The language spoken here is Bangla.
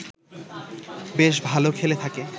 বেশ ভাল খেলে থাকে